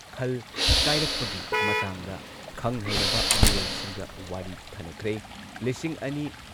ꯈꯜ ꯀꯥꯏꯔꯛꯄꯒꯤ ꯃꯇꯥꯡꯗ ꯈꯪ ꯍꯩꯔꯕ ꯃꯤꯑꯣꯏꯁꯤꯡꯒ ꯋꯥꯔꯤ ꯈꯟꯅꯈ꯭ꯔꯦ꯫ ꯂꯤꯁꯤꯡ ꯑꯅꯤ